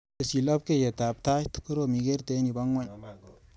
Tesyi lapkeiyetap tait, korom ikerte eng yu pa ng'weny.